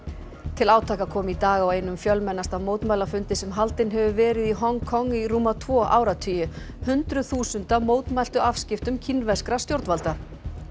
til átaka kom í dag á einum fjölmennasta mótmælafundi sem haldinn hefur verið í Hong Kong í rúma tvo áratugi hundruð þúsunda mótmæltu afskiptum kínverskra stjórnvalda